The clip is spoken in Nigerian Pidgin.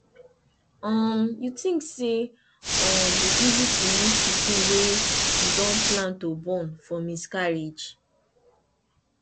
um you think say um e easy to lose pikin wey you don plan to born for miscarriage